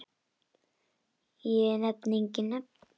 Ég nefni engin nöfn.